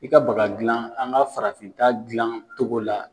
I ka baga gilan an ka farafin ta gilan togo la.